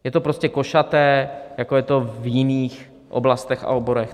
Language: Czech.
Je to prostě košaté, jako je to v jiných oblastech a oborech.